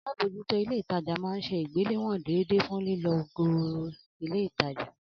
Alábòójútó ilé ìtajà máa ń se ìgbéléwòn déédéé fun lílọ geere ilé ìtajà